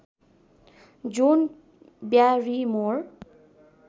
John Barrymore